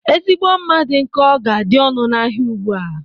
Ezigbo mma dị nkọ ga adị ọnụ ahịa ugbua.